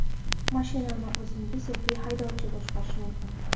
Mashinani o‘zingiz yoki haydovchi boshqarishi mumkin.